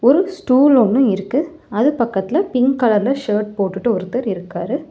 ஒரு ஸ்டூல் ஒன்னு இருக்கு அது பக்கத்துல பிங்க் கலர் ல ஷர்ட் போட்டுட்டு ஒருத்தர் இருக்காரு.